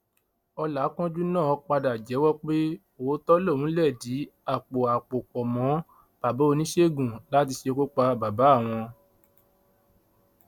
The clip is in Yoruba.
ọlàkánjú náà padà jẹwọ pé òótọ lòun lẹdí àpò àpò pọ mọ bàbá oníṣègùn láti ṣekú pa bàbá àwọn